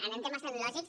en temes tecnològics